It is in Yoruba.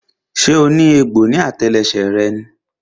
So ní egbò ní àtẹlẹsẹ̀ rẹ ni?